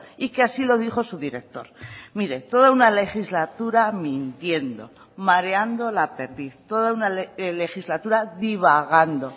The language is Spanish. y que así lo dijo su director mire toda una legislatura mintiendo mareando la perdiz toda una legislatura divagando